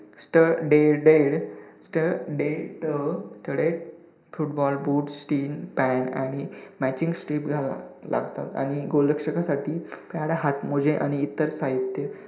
तर footballboots team आणि matching stick घालावे लागतात आणि गोलक्षकसाठी pad, हातमोजे आणि इतर साहित्य